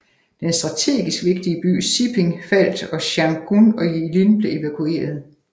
Den strategisk vigtige by Siping faldt og Changchun og Jilin blev evakuerede